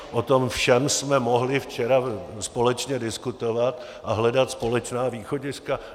O tom všem jsme mohli včera společně diskutovat a hledat společná východiska.